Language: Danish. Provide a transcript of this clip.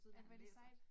Ej hvor det sejt